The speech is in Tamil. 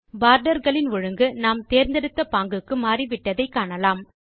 போர்டர் களின் ஒழுங்கு நாம் தேர்ந்தெடுத்த பாங்குக்கு மாறிவிட்டதை காணலாம்